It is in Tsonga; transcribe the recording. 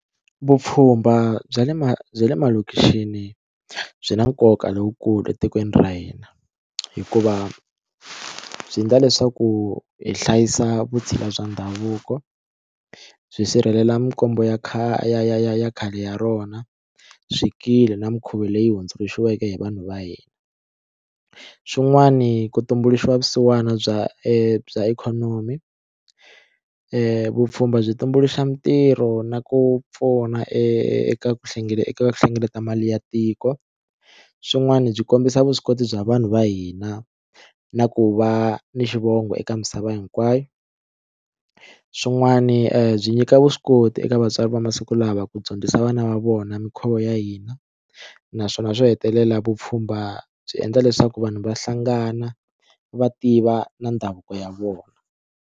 Vupfhumba bya le ma bya le malokixini byi na nkoka lowukulu etikweni ra hina hikuva byi endla leswaku hi hlayisa vutshila bya ndhavuko byi sirhelela mikombo ya ya ya ya khale ya rona swikili na mikhuva leyi hundzuluxiweke hi vanhu va hina xin'wani ku tumbuluxiwa vusiwana bya e bya ikhonomi vupfhumba byi tumbuluxa mintirho na ku pfuna eka ku eka hlengeleta mali ya tiko swin'wana byi kombisa vuswikoti bya vanhu va hina na ku va ni xivongo eka misava hinkwayo swin'wani byi nyika vuswikoti eka vatswari va masiku lawa ku dyondzisa vana va vona minkhuvo ya hina naswona swo hetelela vupfhumba byi endla leswaku vanhu va hlangana va tiva na ndhavuko ya vona.